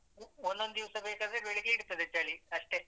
ಒಂದೊಂದ್ ದಿವ್ಸ ಬೇಕಾದ್ರೆ ಬೆಳಿಗ್ಗೆ ಇರ್ತದೆ ಚಳಿ ಅಷ್ಟೇ.